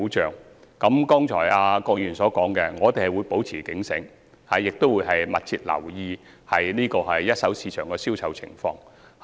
就郭議員剛才提出的意見，我們會保持警醒，亦會密切留意一手市場的銷售情況。